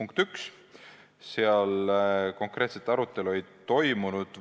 Punkti 1 üle konkreetset arutelu ei toimunud.